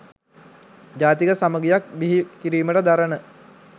ජාතික සමඟියක් බිහි කිරීමට දරන